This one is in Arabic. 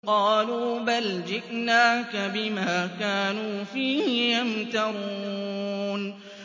قَالُوا بَلْ جِئْنَاكَ بِمَا كَانُوا فِيهِ يَمْتَرُونَ